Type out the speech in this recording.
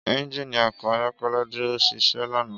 Ẹ́njínì ọkọ ayọkẹlẹ duro ṣiṣẹ lana.